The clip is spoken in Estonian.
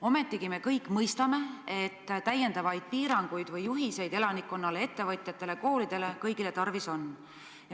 Ometi me kõik mõistame, et täiendavaid juhiseid elanikkonnale, ettevõtjatele, koolidele ehk siis kõigile tarvis on.